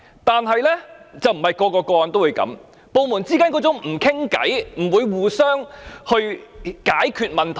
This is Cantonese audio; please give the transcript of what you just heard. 但是，並非每宗個案都會這樣，部門之間缺乏溝通，不會互相合作解決問題。